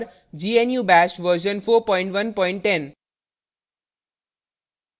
* gnu bash version 4110